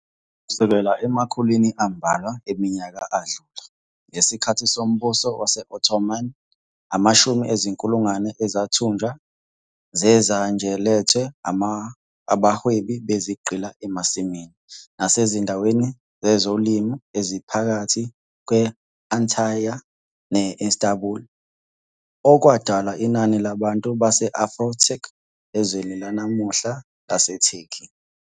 Kusukela emakhulwini ambalwa eminyaka adlule, ngesikhathi soMbuso Wase-Ottoman, amashumi ezinkulungwane ezithunjwa ze-Zanj alethwa abahwebi bezigqila emasimini nasezindaweni zezolimo eziphakathi kwe-Antalya ne-Istanbul, okwadala inani labantu base-Afro-Turk ezweni lanamuhla laseTurkey.